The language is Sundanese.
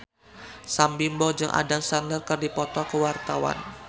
Sam Bimbo jeung Adam Sandler keur dipoto ku wartawan